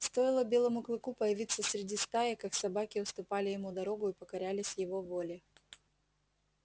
стоило белому клыку появиться среди стаи как собаки уступали ему дорогу и покорялись его воле